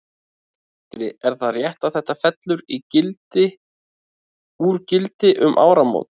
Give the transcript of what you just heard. Sindri: Er það rétt að þetta fellur í gildi úr gildi um áramót?